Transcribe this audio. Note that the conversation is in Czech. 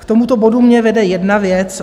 K tomuto bodu mě vede jedna věc.